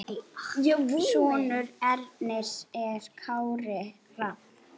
Sonur Ernis er Kári Rafn.